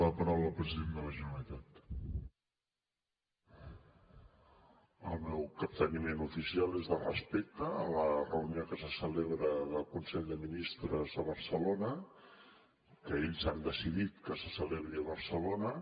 el meu capteniment oficial és de respecte a la reunió que se celebra del consell de ministres a barcelona que ells han decidit que se celebri a barcelona